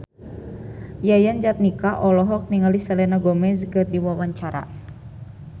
Yayan Jatnika olohok ningali Selena Gomez keur diwawancara